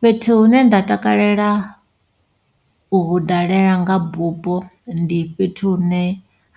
Fhethu hune nda takalela u hu dalela nga bupo, ndi fhethu hune